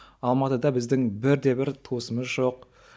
алматыда біздің бірде бір туысымыз жоқ